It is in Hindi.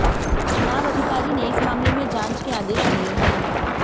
चुनाव अधिकारी ने इस मामले में जांच के आदेश दिए हैं